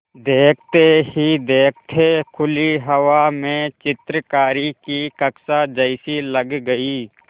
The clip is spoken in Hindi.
देखते ही देखते खुली हवा में चित्रकारी की कक्षा जैसी लग गई